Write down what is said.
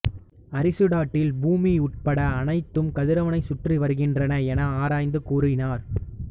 Aristotle பூமி உட்பட அனைத்தும் கதிரவனைச் சுற்றி வருகின்றன என ஆராய்ந்து கூறினார்